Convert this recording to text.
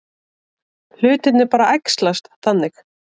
Hlutirnir bara æxlast þannig.